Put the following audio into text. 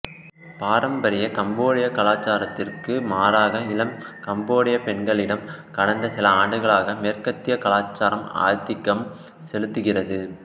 பாரம்பரிய கம்போடிய கலாச்சாரத்திற்கு மாறாக இளம் கம்போடியப் பெண்களிடம் கடந்த சில ஆண்டுகளாக மேற்கத்தியக் கலாச்சாரம் ஆதிக்கம் செலுத்துகிறது